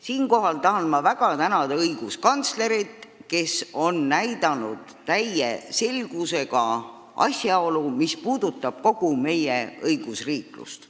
Siinkohal tahan ma väga tänada õiguskantslerit, kes on täie selgusega viidanud asjaolule, mis puudutab kogu meie õigusriiklust.